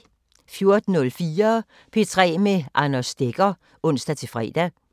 14:04: P3 med Anders Stegger (ons-fre)